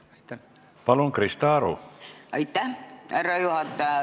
Aitäh, härra juhataja!